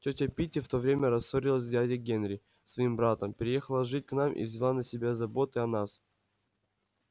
тётя питти в то время рассорилась с дядей генри своим братом переехала жить к нам и взяла на себя заботы о нас